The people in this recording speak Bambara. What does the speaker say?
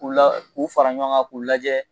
K'u la k'u fara ɲɔgɔn kan k'u lajɛ